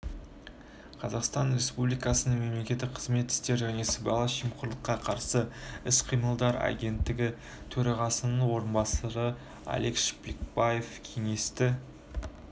қазақстан республикасының мемлекеттік қызмет істері және сыбайлас жемқорлыққа қарсы іс-қимыл агенттігі төрағасының орынбасары алик шпекбаев кеңесті